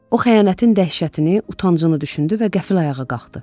O xəyanətin dəhşətini, utancını düşündü və qəfil ayağa qalxdı.